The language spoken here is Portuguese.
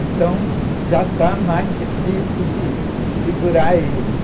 Então, já está mais difícil de segurar eles.